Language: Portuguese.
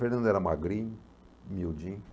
Fernando era magrinho, miudinho.